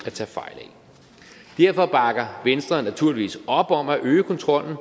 at tage fejl af derfor bakker venstre naturligvis op om at øge kontrollen